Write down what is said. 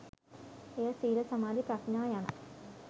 එය සීල, සමාධී, ප්‍රඥා යන